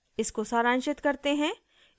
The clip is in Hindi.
इसको सारांशित करते हैं